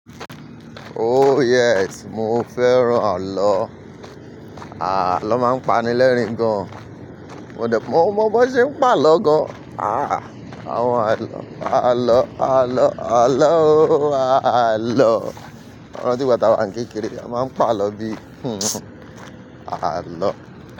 Ooh yes, mọ fẹ́ràn àló. Àà ló máa ń pani lẹ́rìn gan. Mo de mọ̀, mo mọn b'won ṣe ń pa àló gan. Ah! Àwọn àló, àló, àló, àlóòò, àló. Mo rant ìgba ta wá ń kékeré, a máa ń pa àló bí. Àló.